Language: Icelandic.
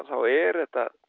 er þetta